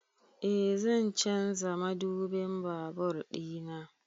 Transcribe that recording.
Eh zan canza madubin babur ɗina